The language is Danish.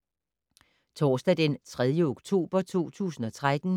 Torsdag d. 3. oktober 2013